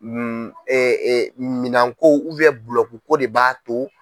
Minɛn ko de b'a to.